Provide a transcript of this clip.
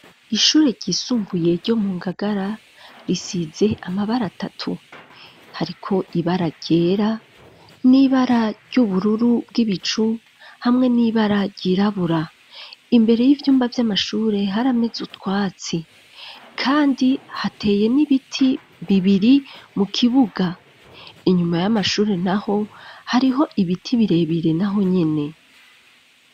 Ishure ryisumbuye ryo mu ngagara risize amabara atatu hariko ibara ryera n'ibara ry'ubururu bw'ibicu hamwe n'ibara ryirabura, imbere y'ivyumba vy'amashure harameze utwatsi kandi hateye n'ibiti bibiri mu kibuga, inyuma y'amashuri naho hariho ibiti birebire naho nyene.